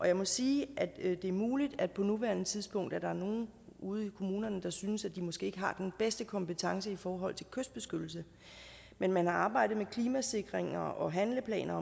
jeg må sige at det er muligt at der på nuværende tidspunkt er nogle ude i kommunerne der synes at de måske ikke har den bedste kompetence i forhold til kystbeskyttelse men man har arbejdet med klimasikring og handleplaner